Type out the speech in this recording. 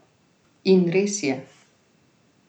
In res je.